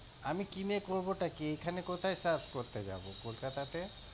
আমি কিনে করবোটা কি? এখানে কোথায় surf করতে যাবো কলকাতাতে?